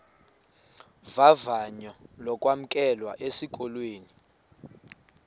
vavanyo lokwamkelwa esikolweni